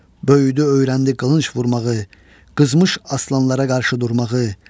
Böyüdü öyrəndi qılınc vurmağı, qızmış aslanlara qarşı durmağı.